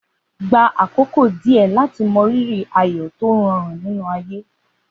Gba àkókò díẹ̀ láti mọrírì ayọ̀ tó rọrùn nínú ayé.